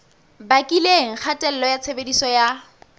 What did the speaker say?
bakileng kgatello ya tshebediso ya